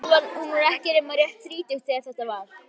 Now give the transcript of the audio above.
Hún var ekki nema rétt um þrítugt þegar þetta var.